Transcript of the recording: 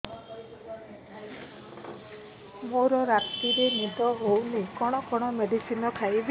ମୋର ରାତିରେ ନିଦ ହଉନି କଣ କଣ ମେଡିସିନ ଖାଇବି